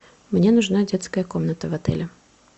мне нужна детская комната в отеле